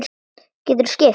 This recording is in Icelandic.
Geturðu skipt?